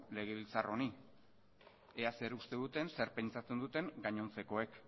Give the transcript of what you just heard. legebiltzar honi ea zer uste duten zer pentsatzen duten gainontzekoek